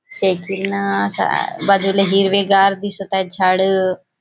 सायकीलने सा बाजूला हिरवे गार दिसत आहेत झाडं.